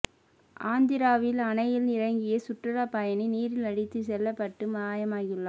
ஆந்திராவில் அணையில் இறங்கிய சுற்றுலா பயணி நீரில் அடித்து செல்லப்பட்டு மாயமாகியுள்ளார்